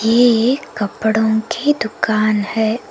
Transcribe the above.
ये एक कपड़ों की दुकान है।